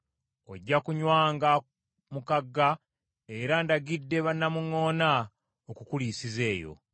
Ojja kunywanga mu kagga, era ndagidde bannamuŋŋoona okukuliisiza eyo.”